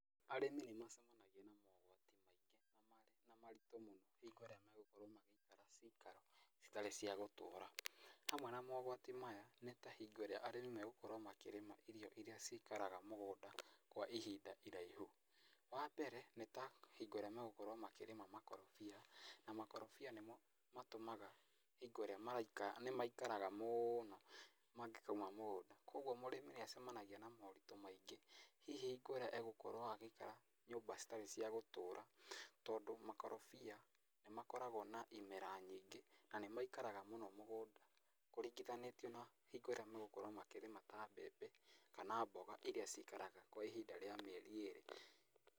Arĩmi nĩ macemanagia na mogwati maingĩ na maritũ mũno hingo ĩrĩa magũkorwo magĩikara cikaro citarĩ cia gũtũra. Hamwe na mogwati maya nĩ ta hingo ĩrĩa arĩmi megũkorwo makĩrĩma irio iria cikaraga mũgũnda kwa ihinda iraihu. Wambere nĩta hingo ĩrĩa megũkorwo makĩrĩma makorobia. Na makorobia nĩmo matũmaga hingo ĩrĩa maraikara, nĩ maikaraga mũno mangĩkauma mũgũnda, kũguo mũrĩmi nĩ acemanagia na moritũ maingĩ. Hihi hingo ĩrĩa egũkorwo agĩikara nyũmba citarĩ cia gũtũra tondũ makorobia nĩ makoragwo na imera nyingĩ na nĩ maikaraga mũno mũgũnda. Kũringithanĩtio na hingo ĩrĩa megũkorwo makĩrĩma ta mbembe kana mboga iria cikaraga kwa ihinda ríĩ mĩeri ĩrĩ.